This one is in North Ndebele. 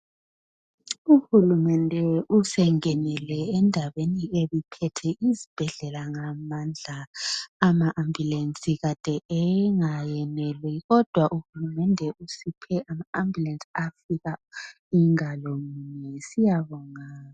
Uhulumende usengenele endabeni ebiphethe isibhedlela ngamandla. Ama ambulensi Kade engayeneli kodwa uhulumende usiphe ama ambulensi afika ingalo mbili.